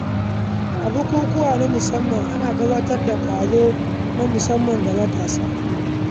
Damuwarki fa damuwata ce, ki fada min matsalarki kawai don Allah